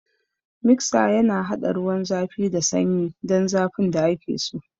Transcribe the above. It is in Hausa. Miksa yana haɗa ruwan zafi da sanyi don zafin da ake so.